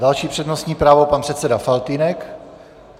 Další přednostní právo pan předseda Faltýnek.